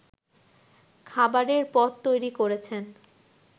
খাবারের পদ তৈরি করেছেন